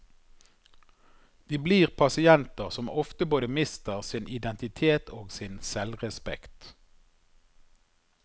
De blir pasienter som ofte både mister sin identitet og sin selvrespekt.